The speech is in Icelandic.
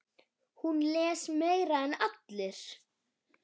Hún les meira en allir.